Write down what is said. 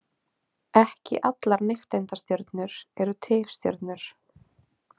Ekki allar nifteindastjörnur eru tifstjörnur.